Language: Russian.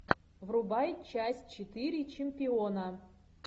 врубай часть четыре чемпиона